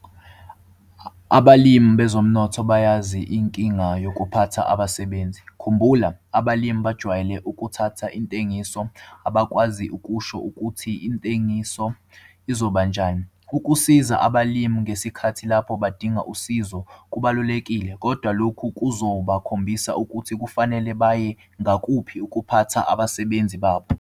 Abalimi bezomnotho bayazi inkinga yokphatha abasebenzi. Khumbula- abalimi bajwayele ukuthatha intengiso, abakwazi ukusho ukuthi intengiso izobanjani. Ukusiza abalimi ngesikhathi lapho badinga usizo kubalulekile, kodwa lokhu kuzobakhombisa ukuthi kufanele baye ngakuphi ukuphatha abasebenzi babo